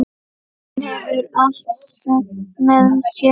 Hann hefur allt með sér.